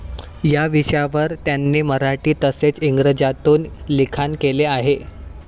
या विषयांवर त्यांनी मराठी तसेच इंग्रजीतून लिखाण केले आहे.